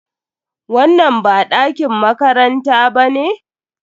Wannan ba ɗakin makaranta ba ne?